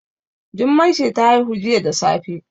Jummai ce ta haihu jiya da safe